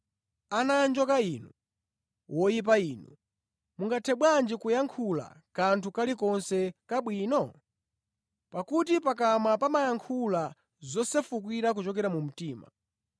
Ana anjoka inu, woyipa inu, mungathe bwanji kuyankhula kanthu kalikonse kabwino? Pakuti pakamwa pamayankhula zosefuka kuchokera mu mtima.